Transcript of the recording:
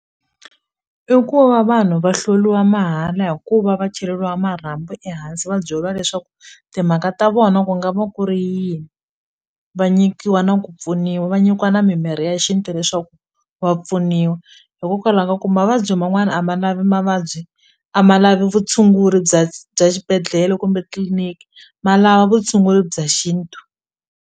I ku va vanhu va mahala hikuva va cheleriwa marhambu ehansi va byeliwa leswaku timhaka ta vona ku nga va ku ri yini va nyikiwa na ku pfuniwa va nyikiwa na mimirhi swi ya hi xintu leswaku va pfuniwa hikokwalaho ka ku mavabyi man'wana a ma lavi mavabyi a ma lavi vutshunguri bya bya xibedhlele kumbe tliliniki ma lava vutshunguri bya xintu.